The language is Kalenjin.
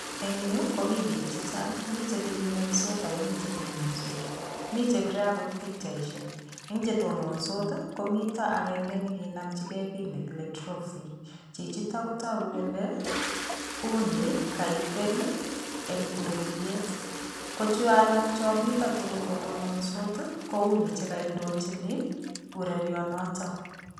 Eng yu komi biik chechang, mi chetebieng'wenysot akomi chetononsot mi chepire akot pikchaishek. Eng chetononsot, komito akenke nekinomchike kiy nekile trophy. Chichito kotoku kole, uni kaipel eng ureriet. Ko choalak chamito tukul kotononsot, ko uni chekaindochin urerionoto.